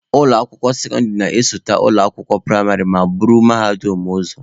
Ụlọ akwụkwọ sekọndịrị na-esote ụlọ akwụkwọ praịmarị ma buru mahadum ụzọ.